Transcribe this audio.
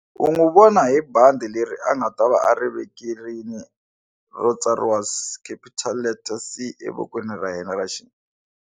U n'wi vona hi bandi leri a nga ta va a ri vekerini ro tsariwa capital letter C evokweni ra yena ra .